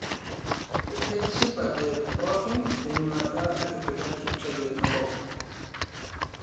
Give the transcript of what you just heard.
Kitishapte pookin te nyuata natipika Kipchoge tenkop